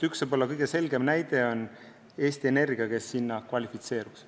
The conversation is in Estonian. Üks võib-olla kõige selgem näide on Eesti Energia, kes kvalifitseeruks.